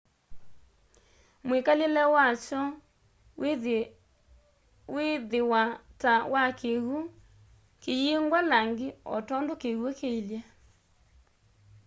mwikalile wakyo wiithiwa ta wa kiw'u kiyingwa langi o tondu kiw'u kiilye